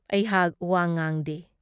ꯑꯩꯍꯥꯥꯛ ꯋꯥ ꯉꯥꯡꯗꯦ ꯫